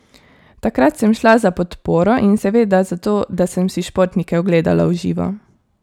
Takrat sem šla za podporo in seveda zato, da sem si športnike ogledala v živo.